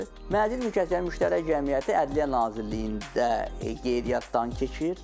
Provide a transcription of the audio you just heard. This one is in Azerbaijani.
Mənzil mülkiyyətçilərinin müştərək cəmiyyəti Ədliyyə Nazirliyində qeydiyyatdan keçir.